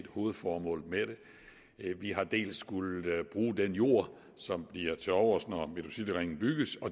hovedformålet med det vi har dels skullet bruge den jord som bliver tilovers når metrocityringen bygges